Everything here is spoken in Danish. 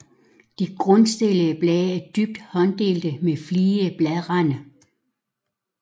De grundstillede blade er dybt hånddelte med fligede bladrande